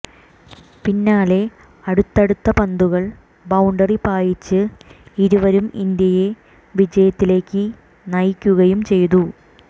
പിന്നാലെ അടുത്തടുത്ത പന്തുകൾ ബൌണ്ടറി പായിച്ച് ഇരുവരും ഇന്ത്യയെ വിജയത്തിലേക്ക് നയിക്കുകയും ചെയ്തു